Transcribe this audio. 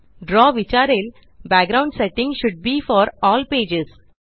द्रव विचारेल background setting should be for all pages